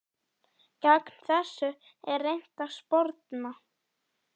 Gegn þessu er reynt að sporna.